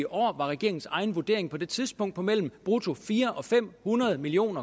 år var regeringens egen vurdering på det tidspunkt på mellem brutto fire hundrede og fem hundrede million